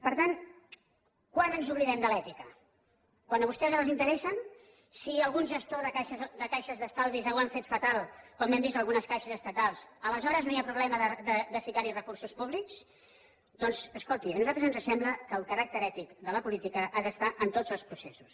per tant quan ens oblidem de l’ètica quan a vostès els interessa si algun gestor de caixes d’estalvis ho han fet fatal com ho hem vist en algunes caixes estatals aleshores no hi ha problema de ficar hi recursos públics doncs escolti a nosaltres ens sembla que el caràcter ètic de la política ha d’estar en tots els processos